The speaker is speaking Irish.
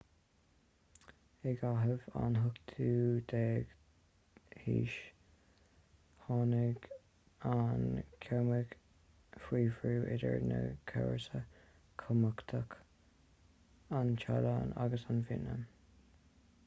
i gcaitheamh an 18ú haois tháinig an chambóid faoi bhrú idir dhá chomharsa chumhachtacha an téalainn agus vítneam